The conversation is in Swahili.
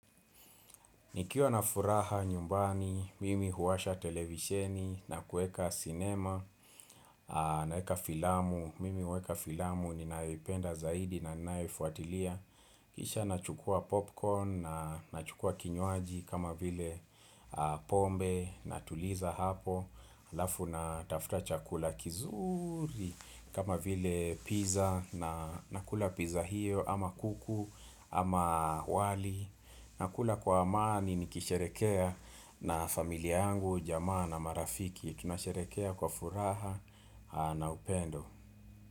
Nikiwa na furaha nyumbani, mimi huwasha televisheni, nakueka sinema, naweka filamu, mimi huweka filamu, ninaipenda zaidi na ninaifuatilia Kisha nachukua popcorn, nachukua kinywaji kama vile pombe, natuliza hapo, alafu natafuta chakula kizuri kama vile pizza na nakula pizza hiyo ama kuku ama wali nakula kwa amani nikisherekea na familia angu, jamaa na marafiki Tunasherekea kwa furaha na upendo.